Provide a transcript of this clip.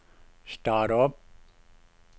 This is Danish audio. start om